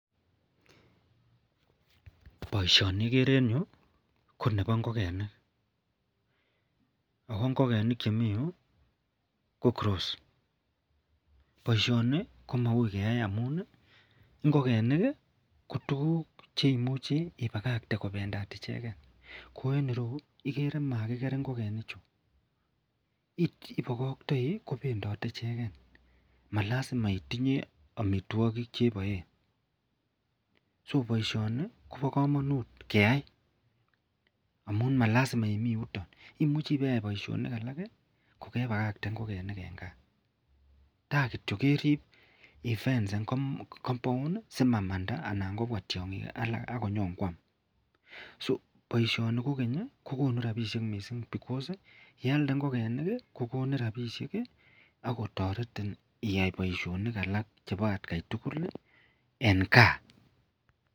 Boishoni ikere en yuu ko nebo ingokenik ako ingokenik cheikere en yuu ko cross boishoni ko maui keyai amun ngokenik ko tukuk cheimuche ibakakte kopendat icheken ko en ireyuu okere makiker ingikenik chuu ibokoktoi kopendotet icheken malasjma itinye omitwokik cheboe. So boishoni Kobo komonut keyai amun malasima imii youto imuche ibeyai boishoni alak kii kokepakakte ingokenik en gaa ta kityok kerib Ii fencen compound si mamanda anan kobwa tyonkik alak akonyon kwam. So boishoni kokenyi kokonu rabinik missing because [ca]inialde ingokenik kii kokonu rabishek kii akotoreti iyai boishoni alak en gaa.